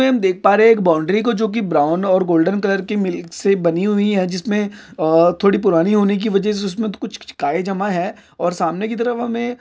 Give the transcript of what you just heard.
हम देख पा रहे एक बाउंड्री को जो कि ब्राउन और गोल्डन कलर की मिल्क से बनी हुई है जिसमें अह थोड़ी पुरानी होने की वजह से उसमें कुछ काई जमा है और सामने की तरफ हमे--